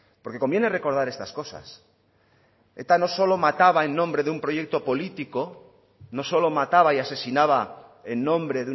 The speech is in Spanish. porque conviene recordar estas cosas eta no solo mataba en nombre de un proyecto político no solo mataba y asesinaba en nombre